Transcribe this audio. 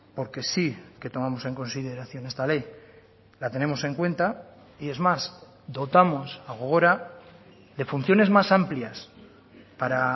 porque sí que tomamos en consideración esta ley la tenemos en cuenta y es más dotamos a gogora de funciones más amplias para